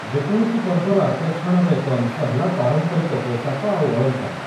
ଯେକୌଣସି ପର୍ବର ଆକର୍ଷଣର ଏକ ଅଂଶ ହେଲା ପାରମ୍ପରିକ ପୋଷାକ ଆଉ ଅଳଙ୍କାର ।